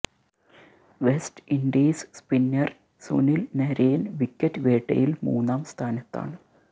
west Indies spinner Sunil Narine wicket വേട്ടയില് മൂന്നാം സ്ഥാനത്താണ്